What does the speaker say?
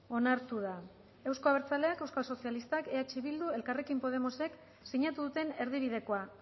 onartu da euzko abertzaleak euskal sozialistak eh bildu elkarrekin podemosek sinatu duten erdibidekoa